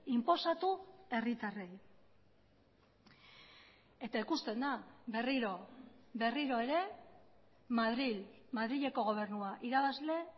inposatu herritarrei eta ikusten da berriro berriro ere madril madrileko gobernua irabazle